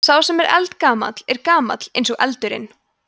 sá sem er eldgamall er gamall eins og eldurinn